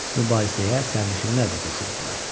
Mübahisəyə sərnişinlər də qoşuldular.